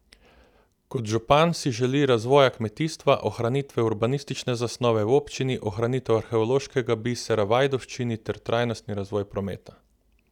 Kot župan si želi razvoja kmetijstva, ohranitve urbanistične zasnove v občini, ohranitev arheološkega bisera v Ajdovščini ter trajnostni razvoj prometa.